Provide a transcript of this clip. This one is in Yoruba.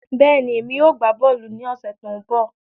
Bẹ́ẹ̀ni, èmi yóò gbá bọ́ọ̀lù ní ọ̀sẹ̀ tó ń bọ̀